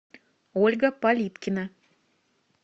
ольга полипкина